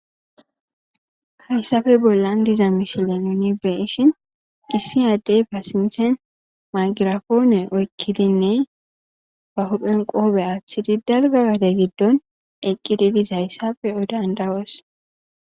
Hayssappe bollan diiza missile nuuni be'ishin issi addey sinththan maygrapone woththidi daalgga gadde giddon eqqidi diizayssa be'o danddayoss.